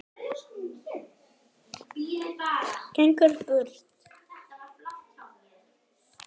Gengur burt.